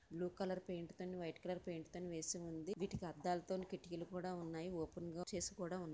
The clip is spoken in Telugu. బ్లూ కలర్ పెయింట్ తోని వైట్ కలర్ పెయింట్ తోని వేసి ఉంది వీటికి అద్దాలతో కిటికీలు కూడా ఉన్నాయి ఓపెన్ గా చేసి కూడా ఉంది.